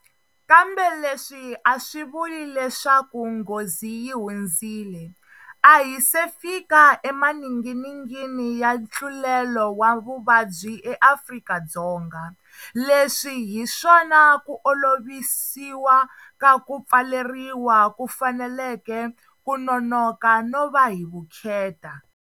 Kambe leswi a swi vuli leswaku nghozi yi hundzile. A hi se fika emaninginingini ya ntlulelo wa vuvabyi eAfrika-Dzonga. Leswi hi swona ku olovisiwa ka ku pfaleriwa ku faneleke ku nonoka no va hi vukheta.